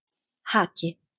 Haki